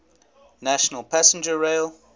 national passenger rail